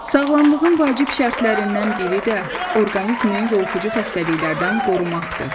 Sağlamlığın vacib şərtlərindən biri də orqanizmi yoluxucu xəstəliklərdən qorumaqdır.